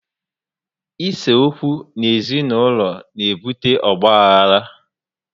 Ise okwu n'ezi naulọ na ebute ọgbaghara